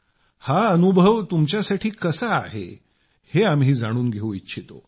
हा अनुभव तुमच्यासाठी कसा आहे हे आम्ही जाणून घेऊ इच्छितो